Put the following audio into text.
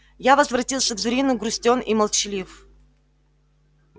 я возвратился к зурину грустён и молчалив